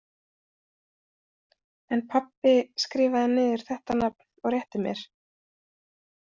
En pabbi skrifaði niður þetta nafn og rétti mér.